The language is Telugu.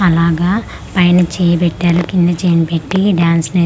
అలాగా పైన చెయ్ పెట్టాలు కింద చైన్ పెట్టి డాన్స్ నేర్చు--